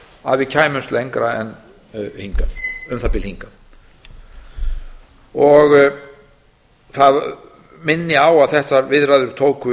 að við kæmumst lengra en um það bil hingað minni á að þessar viðræður tóku